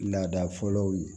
Laada fɔlɔw ye